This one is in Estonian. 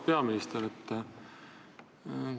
Auväärt peaminister!